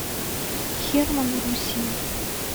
херманн руссия